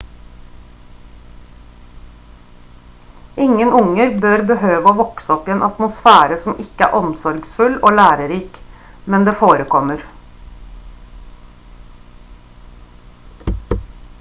ingen unger bør behøve å vokse opp i en atmosfære som ikke er omsorgsfull og lærerik men det forekommer